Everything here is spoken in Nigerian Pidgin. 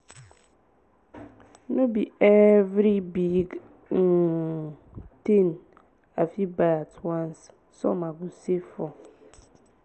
no be every big um thing i fit buy at once some i go save for.